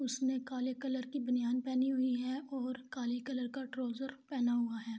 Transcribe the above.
اسنے کالے کلر کی بنیان پہنی ہوئ ہے اور کالا کلر کا ٹرووذر پہنا ہوا ہے